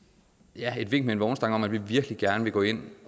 et vink med en vognstang om at vi virkelig gerne vil gå ind